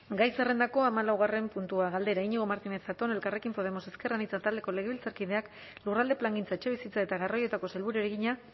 gai zerrendako hamalaugarren puntua galdera iñigo martínez zatón elkarrekin podemos ezker anitza taldeko legebiltzarkideak lurralde plangintza etxebizitza eta garraioetako sailburuari egina